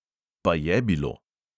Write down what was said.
Pa je bilo!